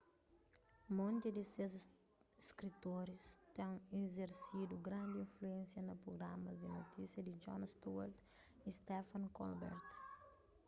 monti di ses skritoris ten izersidu grandi influénsia na prugramas di notisia di jon stewart y stephen colbert